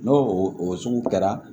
N'o o sugu kɛra